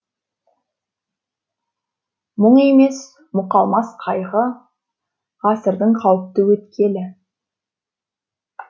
мұң емес мұқалмас қайғы ғасырдың қауіпті өткелі